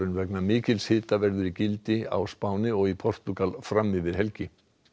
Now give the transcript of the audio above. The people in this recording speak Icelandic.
vegna mikils hita verður í gildi á Spáni og í Portúgal fram yfir helgi